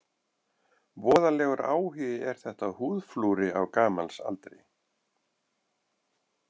Voðalegur áhugi er þetta á húðflúri á gamals aldri.